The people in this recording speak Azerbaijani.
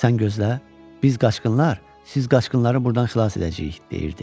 Sən gözlə, biz qaçqınlar siz qaçqınları burdan xilas edəcəyik, deyirdi.